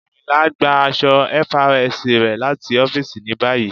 Ayìnla n gbà àṣọ̀ FRSC rẹ̀ láti ọ̀fìísì ní báyì.